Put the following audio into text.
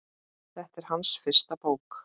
Þetta er hans fyrsta bók.